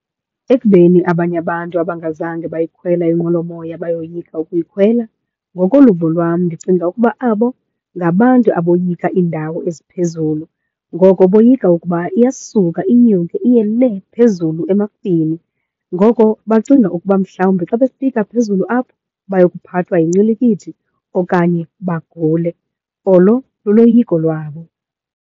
Ekubeni abanye abantu abangazange bayikhwela inqwelomoya bayoyika ukuyikhwela, ngokoluvo lwam ndicinga ukuba abo ngabantu aboyika iindawo eziphezulu ngoko boyika ukuba iyasuka inyuke iye lee phezulu emafini. Ngoko bacinga ukuba mhlawumbi xa befika phezulu apho bayokuphathwa yincilikithi okanye bagule. Olo luloyiko lwabo.